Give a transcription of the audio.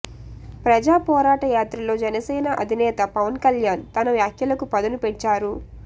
ప్రజా పోరాట యాత్రలో జనసేన అధినేత పవన్కళ్యాన్ తన వ్యాఖ్యలకు పదును పెంచారు